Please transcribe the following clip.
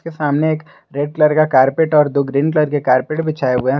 सामने एक red colour का कारपेट और दो ग्रीन कलर का कारपेट बिछाए हुए हैं।